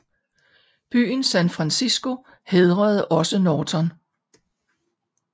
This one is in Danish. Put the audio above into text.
Byen San Francisco hædrede også Norton